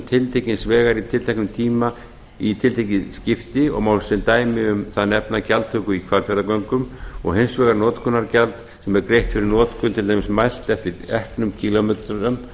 tiltekins vegar í tiltekinn tíma í tiltekið skipti og má sem dæmi um það nefna gjaldtöku í hvalfjarðargöngum og hins vegar notkunargjald sem er greitt fyrir notkun til dæmis mælt eftir eknum kílómetrum